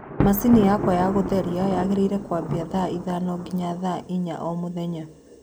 machini yakwa ya gutherĩa yagiriire kwambia thaa ithano nginya thaa ĩnya o mũthenya